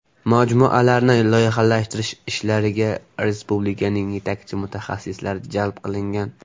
Majmualarni loyihalashtirish ishlariga respublikaning yetakchi mutaxassislari jalb qilingan.